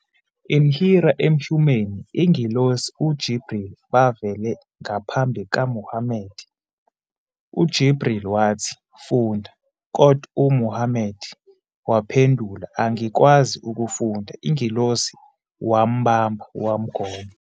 In Hira emhumeni ingelosi jibril bavele ngaphambi Muhammad. jibril wathi "Funda", kodwa Muhammad waphendula- "Angikwazi ukufunda". ingelosi wambamba, wamgona.